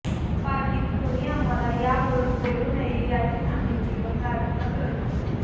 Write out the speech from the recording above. पार्टीत कोणी आम्हाला यावरून बोलू नये याचीच आम्ही तिघं प्रार्थना करत होतो